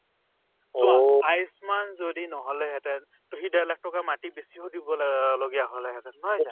চোৱা আয়ুসমান যদি নহলেহেতেন to সি ডেৰ লাখ টকা মাটি বেছিব দিব লগা লগীয়া হলেহেতেন নহয় জানো